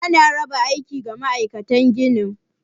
Ana raba aiki ga ma'aikatan ginin.